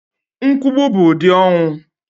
Nkwùgbù bụ ụdị ọnwụ